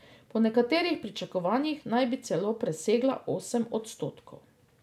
Po nekaterih pričakovanjih naj bi celo presegla osem odstotkov.